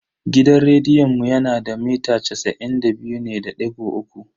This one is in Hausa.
Gidan rediyon mu yana da mita casa'in da biyu ne da digo uku.